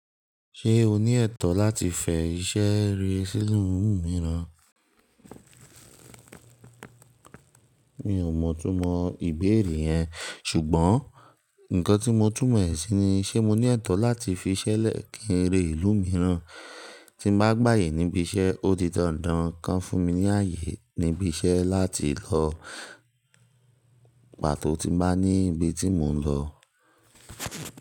Ṣé o ní ẹ̀tọ́ láti fẹ iṣẹ́ ré sílù mìíràn? Mi ò mọ̀ túmọ̀ ìbéèrè yẹn, ṣùgbọ́n nǹkan tí mo tún mọ̀ ẹ́ sí ni, ṣe mo ní ẹ̀tọ́ láti fi iṣẹ́ lẹ̀ kí eré ìlú mìíràn? Tí n bá gba èyí níbi iṣẹ́, ó di dandan kan fún mi ní ààyè níbi iṣẹ́ láti lọ pàtó tí n bá ní ibi tí mò ń lọ.